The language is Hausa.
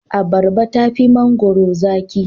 Abarba tafi mangwaro zaki.